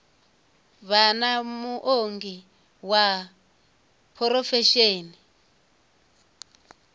vha na muongi wa phurofesheni